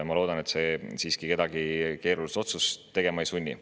Ma loodan, et see siiski kedagi keerulist otsust tegema ei sunni.